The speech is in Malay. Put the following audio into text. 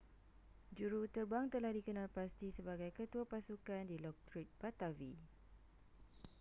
juruterbang telah dikenal pasti sebagai ketua pasukan dilokrit pattavee